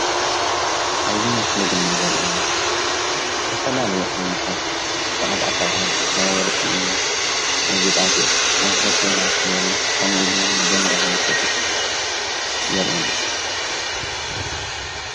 ኣብዚ ምስሊ ድማ ዘርኤና ዝተፈላለዩ ዓይነትታት ሸቀጣሸቀጥ ናይ ወርቂ ናይ ገጣጌጥ ናይ ሆቴላት በሪ ከምኡ ኢሉ 'ውን ቦንዳ መሸጢ የርአና።